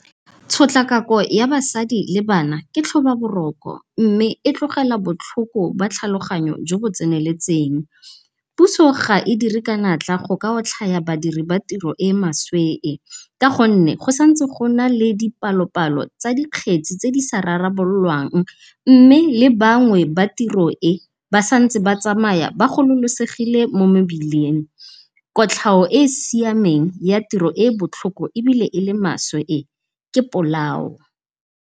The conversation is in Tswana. Tshotlakako ya basadi le bana ketlhoba boroko, mme e tlogela botlhoko ba tlhaloganyo jo bo tseneletseng. Puso ga e dire ka natla go ka otlhaya badiri ba tiro e maswe e, ka gonne go santse gona le dipalopalo tsa di kgetsi tse di sa rarabololwang mme le bangwe ba tiro e ba santse ba tsamaya ba gololosegile mo mebileng. Kotlhao e e siameng ya tiro e e botlhoko ebile ele maswe e ke polao.